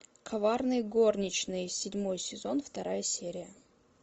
коварные горничные седьмой сезон вторая серия